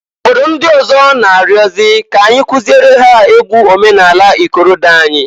Obodo ndị ọzọ n'ayọzị k'anyị kụziere ha egwu omenanị ikorodo anyị.